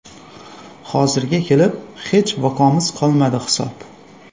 Hozirga kelib hech vaqoimiz qolmadi hisob.